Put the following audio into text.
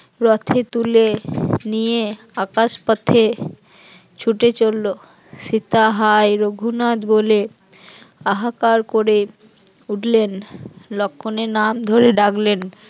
রথে তুলে নিয়ে আকাশ পথে ছুটে চলল, সীতা হায় রঘুনাথ বলে হাহাকার করে উঠলেন, লক্ষণের নাম ধরে ডাকলেন